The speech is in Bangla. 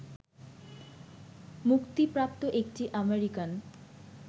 মুক্তিপ্রাপ্ত একটি আমেরিকান